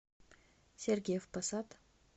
сергиев посад